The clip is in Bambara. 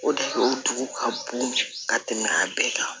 O de o dugu ka bon ka tɛmɛ a bɛɛ kan